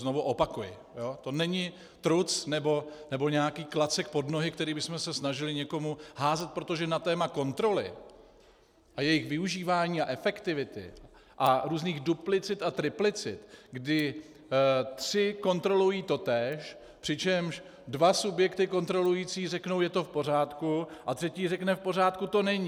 Znovu opakuji, to není truc nebo nějaký klacek pod nohy, který bychom se snažili někomu házet, protože na téma kontroly a jejich využívání a efektivity a různých duplicit a triplicit, kdy tři kontrolují totéž, přičemž dva subjekty kontrolující řeknou: je to v pořádku, a třetí řekne: v pořádku to není.